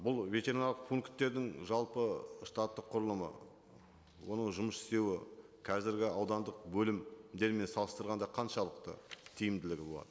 бұл ветеринарлық пункттердің жалпы штаттық құрылымы оның жұмыс істеуі қазіргі аудандық бөлімдермен салыстырғанда қаншалықты тиімділігі болады